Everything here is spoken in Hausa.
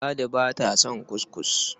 Ladi ba ta son kuskus.